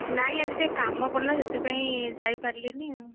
ନାଇଁ ଆଜି ଟିକେ କାମ ପଡିଲା ସେଥିପାଇଁ ଯାଇପାରିଲିନି ଆଉ।